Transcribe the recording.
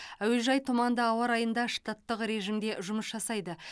әуежай тұманды ауа райында штаттық режимде жұмыс жасайды